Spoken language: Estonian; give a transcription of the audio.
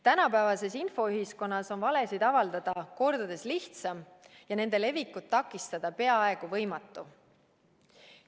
Tänapäevasee infoühiskonnas on valesid avaldada kordades lihtsam ja nende levikut takistada peaaegu võimatu.